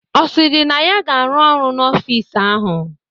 Ọ sịrị na ya ga-arụ ọrụ n'ọfịs ahụ?